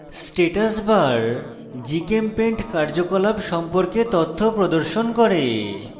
status bar gchempaint কার্যকলাপ সম্পর্কে তথ্য প্রদর্শন করে